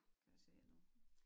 Kan jeg se nu